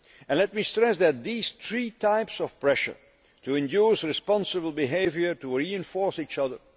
again. Let me stress that these three types of pressure to induce responsible behaviour reinforce each